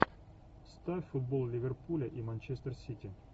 ставь футбол ливерпуля и манчестер сити